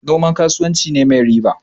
Noma kasuwanci ne mai riba.